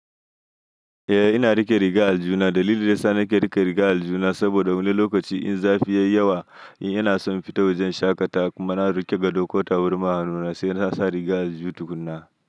Eh ina riƙe rigar aljihuna, dalilin da yana sa nake riƙe rigar aljihuna saboda wani lokaci in zafi ya yi yawa, ina son in fita wajen shaƙata kuma na riƙe gado ko taburma a hanuna sai na sa rigar aljuhu tukuna.